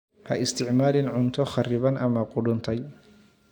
Ha isticmaalin cunto kharriban ama qudhuntay.